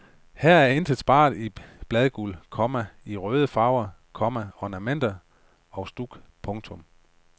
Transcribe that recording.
Her er intet sparet i bladguld, komma i røde farver, komma ornamenter og stuk. punktum